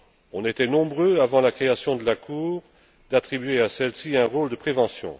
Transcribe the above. On était nombreux, avant la création de la Cour, à attribuer à celle ci un rôle de prévention.